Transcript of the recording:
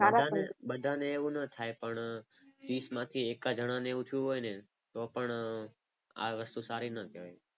બધાને એવું ન થાય પણ ત્રીસમાંથી એકાદ જણાની એવું થયું હોય ને તો પણ આ વસ્તુ સારી ન કહેવાય.